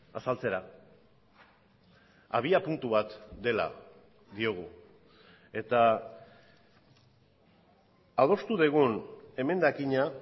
azaltzera abiapuntu bat dela diogu eta adostu dugun emendakina